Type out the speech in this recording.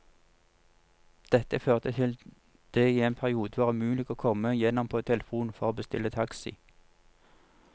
Dette førte til at det i en periode var umulig å komme gjennom på telefon for å bestille taxi.